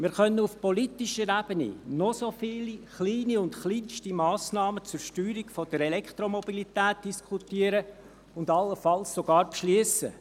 Wir können auf politischer Ebene noch so viele kleine und kleinste Massnahmen zur Steuerung der Elektromobilität diskutieren und allenfalls sogar beschliessen.